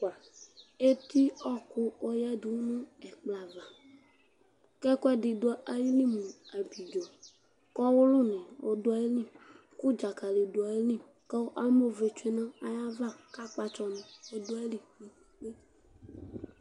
Eti ɔwɔku du ɛkplɔ ava kɛkuɛdi du ayili mu ablidzo Kɔwulu du ayili ku dzakali du ayili kamɔvɛ tsue nayava kakpatsɔni adu ayava